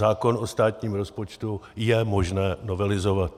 Zákon o státním rozpočtu je možné novelizovat.